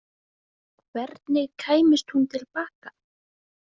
Hvernig kæmist hún til baka?